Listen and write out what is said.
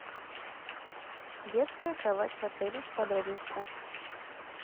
детская кровать в отеле подробности